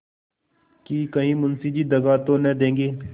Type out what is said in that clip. कि कहीं मुंशी जी दगा तो न देंगे